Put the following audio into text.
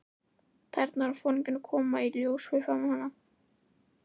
Tærnar á foringjanum koma í ljós fyrir framan hann.